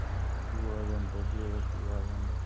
ਦੂਆ ਆ ਜਾਂਦਾ ਦੁਆ ਜੜੀ ਆ ਜਾਂਦਾ